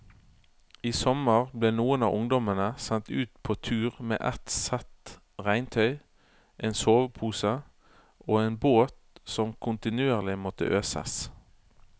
I sommer ble noen av ungdommene sendt ut på tur med ett sett regntøy, en sovepose og en båt som kontinuerlig måtte øses.